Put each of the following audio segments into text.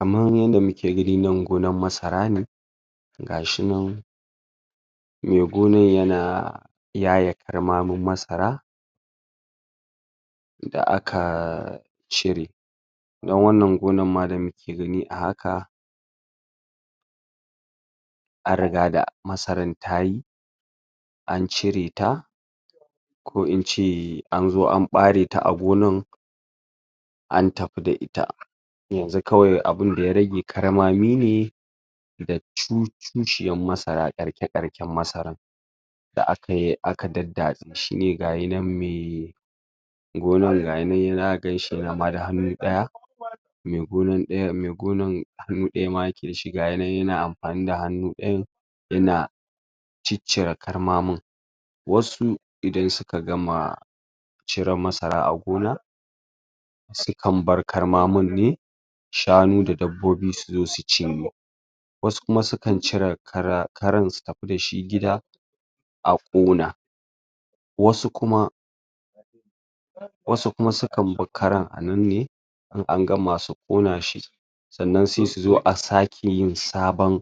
Kamar yadda muke gani gonar masara ne ga shi nan mai gonar yana yaye karmamin masara da aka cire dan wannan gonar ma da muke gani a haka an riga da masarar ta yi an cire ta ko in ce an zo an ɓare ta a gonar an tafi da ita yanzu kawai abin da ya rage karmami ne da tushiyar masarar ƙarshe-ƙarshen masarar da aka yar aka daddatse aka shi ne ga shi nan mai gonar ga shi nan zaka gan shi yana da hannu ɗaya mai gonar ɗayan mai gonar hannu ɗaya ma yake da shi, ga shi nan ma yana amfani da hannu ɗayan yana ciccire karmamin wasu idan suka gama cire masara a gona sai an bar karmamin ne shanu da dabbobi su zo su cinye wasu kuma sukan cire kara karan su tafi da shi gida a ƙona wasu kuma wasu kuma sukan bar karan a nan ne in gama su ƙona shi sannan sai su zo a sake yin sabon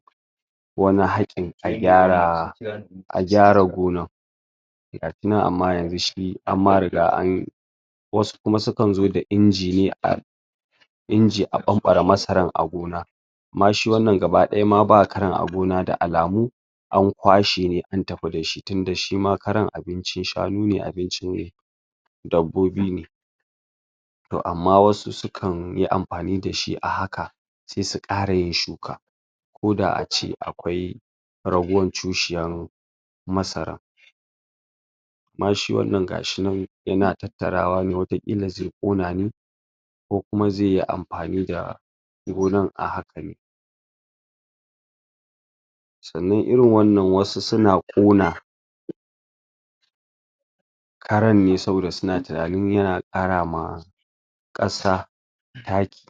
wani haƙin ai gyarawa a gyara gonar a tuna amma yanzu shi an ma riga an wasu kuma sukan zo da inji ne a inji a ɓanɓare masarar a gona amma shi wannan gaba ɗaya ba karan a gona da alamu an kwashe ne an tafi da shi tunda shi ma karan abincin shanu ne abincin dabbobi to amman waɗansu suksn yi amfani da shi a haka sai su ƙara yin shuka koda a ce akwai ragowar tushiyar masara amma shi wannan ga shi nan yana ta tarawa ne wata ƙila zai ƙona ne ko kuma zai yi amfani da gonar a haka sannan irin wannan waɗansu na ƙona karan ne saboda suna tunanin yana ƙara ma ƙasa taki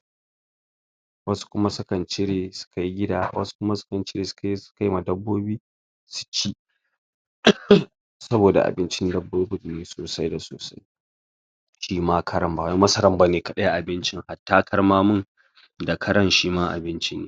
wasu kuma sukan cire su kai gida wasu kuma sukan cire su kaiwa dabbobi su ci alhim saboda babincin dabbobin ne saosai da sosai shi ma karan ba wai kawai masarar ba ce kaɗai abincin hatta karmamin da karan shi ma abinci ne